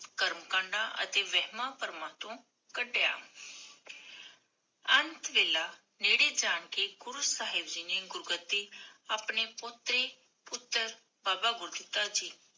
ਕਰਮ ਕਾਂਡਾ ਅਤੇ ਵੇਹ੍ਮਾ ਪ੍ਮਾਂ ਤੋਂ ਕਡਿਆ ਅੰਤ ਵੇਲਾ, ਨੇੜੇ ਜਾ ਕੇ ਗੁਰੂ ਸਾਹਿਬ ਜੀ ਨੇ ਗੁਰੁਗ੍ਦ੍ਦੀ ਆਪਣੀ ਪੁਤਰੀ-ਪੁਤਰ ਬਾਬਾ ਗੁਰਦਿੱਤਾ ਜੀ